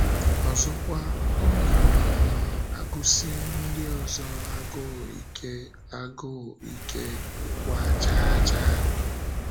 Ọzọkwa, ọ na um - agụsi ndị ọzọ agụụ ike, agụụ ike, ịgba chaa chaa.